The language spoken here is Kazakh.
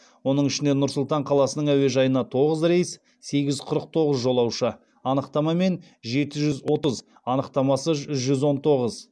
оның ішінде нұр сұлтан қаласының әуежайына тоғыз рейс сегіз жүз қырық тоғыз жолаушы анықтамамен жеті жүз отыз анықтамасыз жүз он тоғыз